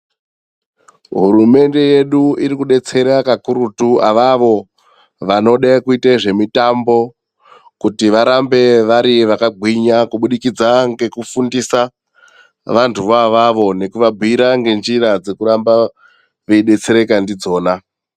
Hurumende yedu irikudetsera kakurutu qvavo vanode kuita zvemutambo kuro varambe vari vakagwinya kubudikidza ngekufundisa vanthu vo avavo ngekuvabhuira ngenjita dzekuramba veidetsereka ndidzona.